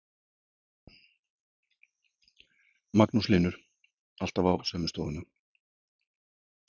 Magnús Hlynur: Alltaf á sömu stofuna?